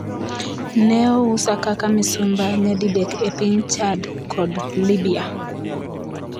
Ne ousa kaka misumba nyadidek e piny Chad kod Libya’.